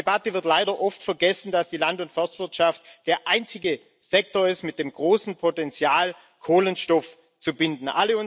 In der ganzen Debatte wird leider oft vergessen, dass die Land und Forstwirtschaft der einzige Sektor ist mit dem großen Potenzial, Kohlenstoff zu binden.